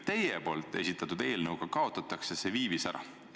Teie esitatud eelnõu kohaselt kaotatakse see viivis ära.